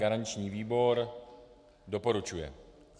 Garanční výbor doporučuje.